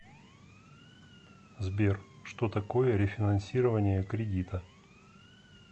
сбер что такое рефинансирование кредита